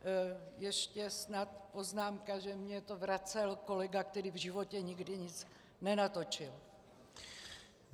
Ještě snad poznámka, že mi to vracel kolega, který v životě nikdy nic nenatočil.